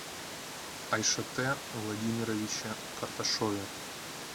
айшате владимировиче карташове